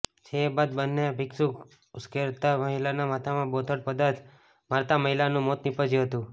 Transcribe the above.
જે બાદ બન્ને ભિક્ષુક ઉશ્કેરાતા મહિલાના માથામાં બોથડ પદાર્થ મારતા મહિલાનુ મોત નિપજ્યુ હતુ